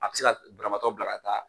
A bɛ se ka banabaatɔ bila ka taa